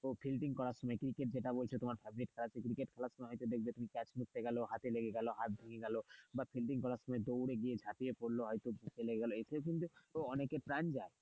ও fielding করার সময় cricket যেটা বলছে তোমার favorite খেলা, ক্রিকেট খেলার সময় হয়তো দেখবে তুমি catch নিতে গেলো, হাতে লেগে গেল, হাত ভেঙে গেল বা ফিল্ডিং করার সময় বা দৌড়ে গিয়ে ঝাপিয়ে পড়লো হয়তো হাতে লেগে গেল এতেও কিন্তু অনেকের প্রাণ যায়।